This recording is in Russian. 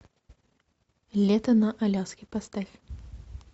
лето на аляске поставь